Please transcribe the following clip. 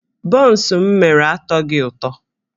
Bọns m mere atọghị ụtọ